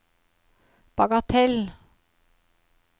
bagatell